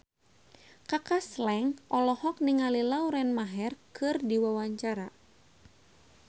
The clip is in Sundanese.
Kaka Slank olohok ningali Lauren Maher keur diwawancara